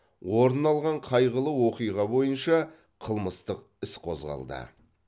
орын алған қайғылы оқиға бойынша қылмыстық іс қозғалды